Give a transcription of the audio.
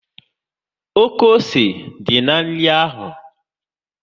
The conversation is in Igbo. Oké ose dị na nri ahụ